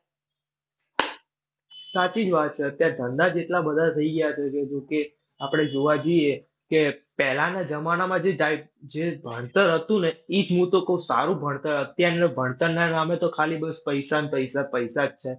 સાચી જ વાત છે અત્યારે ધંધા જ એટલા બધા થઈ ગયા છે. કે આપણે જોવા જઈએ કે પહેલાના જમાનામાં જે જે ભણતર હતું ને ઈ જ હું તો કવ કે સારું ભણતર. અત્યાર ભણતરના નામે ખાલી બસ પૈસા ન, પૈસા, પૈસા જ છે.